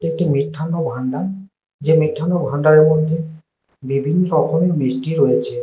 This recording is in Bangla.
একটি মিষ্টান্ন ভাণ্ডার যে মিষ্টান্ন ভাণ্ডারের মধ্যে বিভিন্ন রকমের মিষ্টি রয়েছে।